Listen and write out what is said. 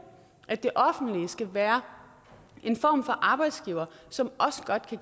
at det offentlige skal være en form for arbejdsgiver som også godt